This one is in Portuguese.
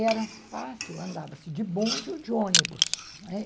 Era fácil, andava-se de bonde ou de ônibus, não é?